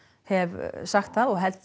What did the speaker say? hef sagt það og held